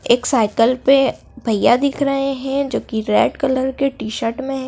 एक साईकल पे भैया दिख रहे हैं जो कि रेड कलर के टी_शर्ट में--